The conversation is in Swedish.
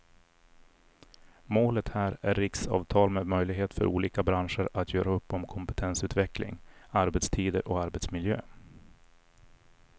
Målet här är riksavtal med möjlighet för olika branscher att göra upp om kompetensutveckling, arbetstider och arbetsmiljö.